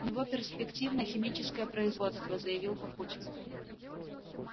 у него перспективное химическое производство заявил папутчик